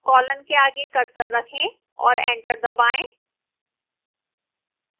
colon के आगे cursor रखें और enter दबाएं